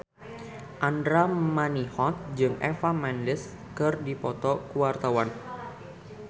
Andra Manihot jeung Eva Mendes keur dipoto ku wartawan